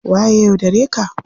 Waye ya yaudare ka?